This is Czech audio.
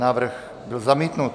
Návrh byl zamítnut.